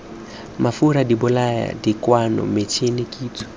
mafura dibolaya dikokwana metšhine kitso